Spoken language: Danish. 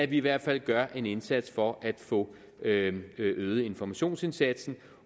i hvert fald gøres en indsats for at få øget øget informationsindsatsen